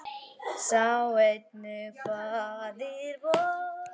Sjá einnig Faðir vor